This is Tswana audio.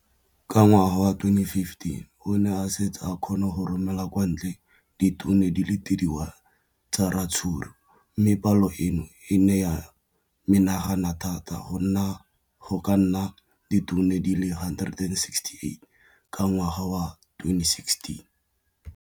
Ka ngwaga wa 2015, o ne a setse a kgona go romela kwa ntle ditone di le 31 tsa ratsuru mme palo eno e ne ya menagana thata go ka nna ditone di le 168 ka ngwaga wa 2016.